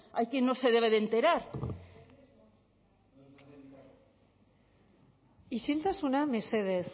hay quien no se debe de enterar isiltasuna mesedez